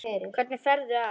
Hvernig ferðu að?